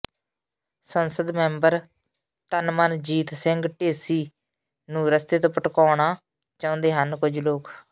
ਸੰਸਦ ਮੈਂਬਰ ਤਨਮਨਜੀਤ ਸਿੰਘ ਢੇਸੀ ਨੂੰ ਰਸਤੇ ਤੋਂ ਭਟਕਾਉਣਾ ਚਾਹੁੰਦੇ ਨੇ ਕੁਝ ਲੋਕ